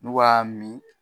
N'u b'a min.